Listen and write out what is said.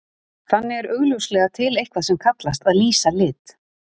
Þannig er augljóslega til eitthvað sem kallast að lýsa lit.